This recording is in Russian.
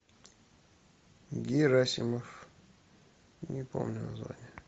герасимов не помню название